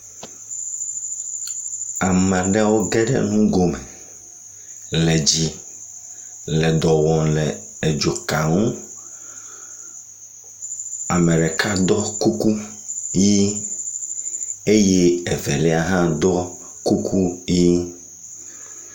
Ame aɖewo ge ɖe ŋgome le dzi le dɔ wɔm le edzo ka ŋu. Ame ɖeka do kuku ʋi eye eveia hã ɖɔ kuku ʋi.